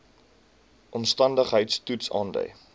omstandigheids toets aandui